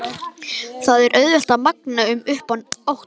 Það er auðvelt að magna upp óttann.